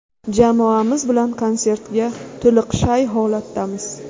Jamoamiz bilan konsertga to‘liq shay holatdamiz.